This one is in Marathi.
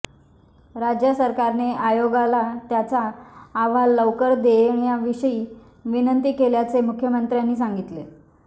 राज्य सरकारने आयोगाला त्यांचा अहवाल लवकर देण्येविषयी विनंती केल्याचेही मुख्यमंत्र्यांनी सांगितले